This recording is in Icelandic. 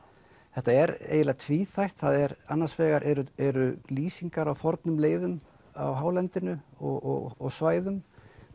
þetta er eiginlega tvíþætt annars vegar eru eru lýsingar á fornum leiðum á hálendinu og svæðum